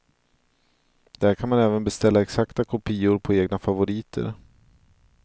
Där kan man även beställa exakta kopior på egna favoriter.